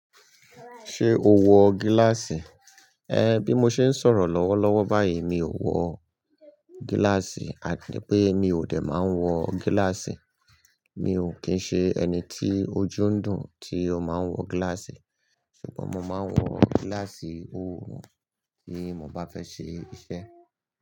Ṣé o wọ gíláàsì? Ẹ, bí mo ṣe ń sọ̀rọ̀ lọ́wọ́lọ́wọ́ báyìí mi ò wọ gíláàsì, àti pé mi ò dè máa ń wọ gíláàsì. Mi ò kín ń ṣe ẹni tí ojú ń dùn tí ó máa ń wọ gíláàsì. Ṣùgbọ́n mo máa ń wọ gíláàsì òòrùn tí mo bá fẹ́ ṣe iṣẹ́.